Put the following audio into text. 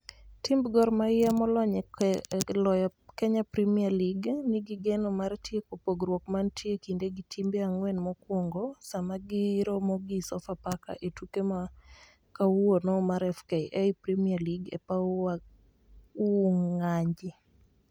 Timb Gor Mahia molony e loyo Kenya Premier League, nigi geno mar tieko pogrouk mantie e kinde gi timbe ang'wen mokwongo sama giromo gi Sofapaka e tuke ma kawuono mar FKF Premier League e paw Wunganyi.